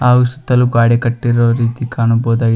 ಹಾಗು ಸುತ್ತಲು ಗ್ವಾಡೆ ಕಟ್ಟಿರುವ ರೀತಿ ಕಾಣಬಹುದಾಗಿ--